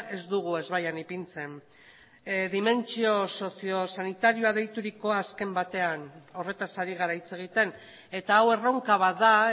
ez dugu ezbaian ipintzen dimentsio sozio sanitarioa deiturikoa azken batean horretaz ari gara hitz egiten eta hau erronka bat da